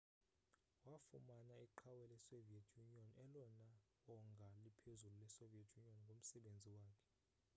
wafumana iqhawe lesoviet union elona wongaa liphezulu lesoviet union ngomsebenzi wakhe